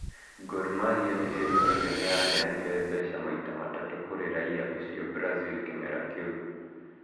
Gormahĩa nĩĩrũtire nĩyaheanĩre mbeca maita matatu kũrĩ raia ũcio brazil kĩmera kĩu